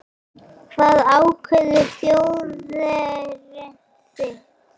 Hvað ákveður þjóðerni þitt?